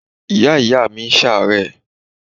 Ìyá ìyáàmi ń ṣàárẹ̀.